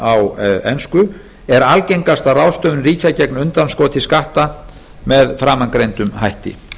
á ensku er algengasta ráðstöfun ríkja gegn undanskoti skatta með framangreindum hætti